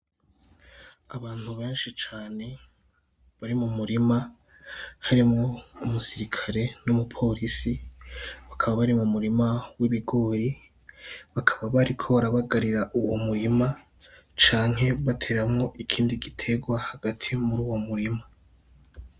Abantu benshi cane bari mu murima harimwo umusirikare n'umupolisi, bakaba bari mu murima w'ibigori, bakaba bariko barabagarira uwo murima canke bateramwo ikindi giterwa hagati muri uwo murima.